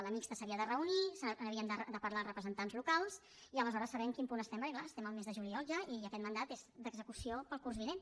la mixta s’havia de reunir n’havien de parlar els representants locals i aleshores saber en quin punt estem perquè clar estem al mes de juliol ja i aquest mandat és d’execució per al curs vinent